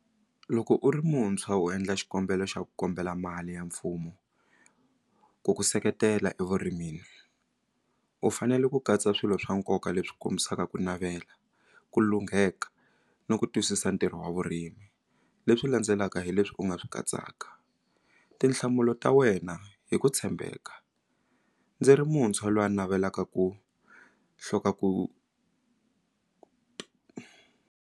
Loko u ri muntshwa u endla xikombelo xa ku kombela mali ya mfumo ku ku seketela evurimini u fanele ku katsa swilo swa nkoka leswi kombisaka ku navela ku lungheka ni ku twisisa ntirho wa vurimi leswi landzelaka hi leswi u nga swi katsaka tinhlamulo ta wena hi ku tshembeka ndzi ri muntshwa lwa navelaka ku ku.